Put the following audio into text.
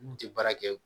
N kun tɛ baara kɛ